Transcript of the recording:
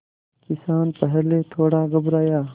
किसान पहले थोड़ा घबराया